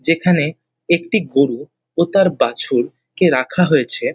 যেখানে একটি গরু ও তার বাছুর কে রাখা হয়েছে।